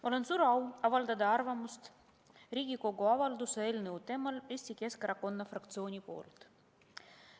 Mul on suur au avaldada arvamust Riigikogu avalduse eelnõu kohta Eesti Keskerakonna fraktsiooni nimel.